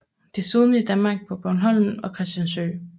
Desuden i Danmark på Bornholm og Christiansø